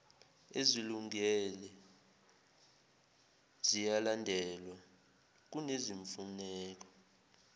ezilungile ziyalandelwa kunezimfuneko